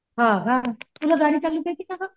हा का तुला गाडी चालवायला येते का गं?